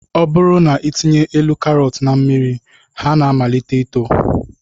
Ọ bụrụ na ị tinye elu karọt na mmiri ha na-amalite ito